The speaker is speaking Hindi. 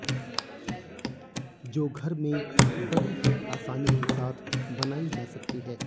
जो घर में बड़ी ही आसानी के साथ बनाई जा सकती है